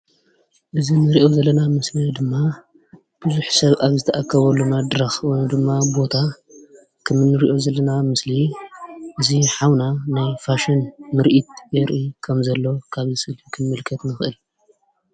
እዚ እንሪኦ ዘለና ምስሊ ድማ ብዙሕ ሰብ ኣብ ዝተኣከብሉ መድረኽ ወይ ድማ ቦታ ከም እንሪኦ ዘለና ምስሊ እዚ ሓውና ናይ ፋሽን ምርኢት የርኢ ከም ዘሎ ካብዚ ምስሊ ክንምልከት ንኽእል፡፡